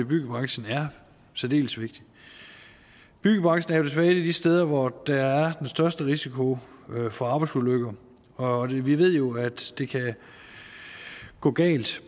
byggebranchen er særdeles vigtigt byggebranchen er desværre et af de steder hvor der er den største risiko for arbejdsulykker og vi ved jo at det kan gå galt